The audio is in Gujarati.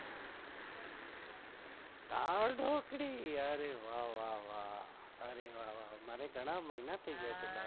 દાળઢોકળી અરે વા વા મને ઘણા મહિના થઈગયા છે.